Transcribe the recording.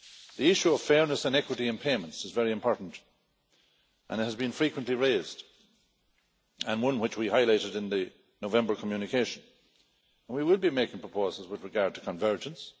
The issue of fairness and equity in payments is very important and it has been frequently raised, and one which we highlighted in the November communication, and we will be making proposals with regard to convergence.